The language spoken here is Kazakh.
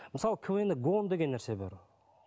мысалы квн де гон деген нәрсе бар